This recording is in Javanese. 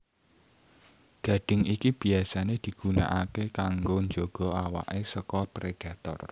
Gadhing iki biyasané digunakaké kanggo njaga awaké saka predator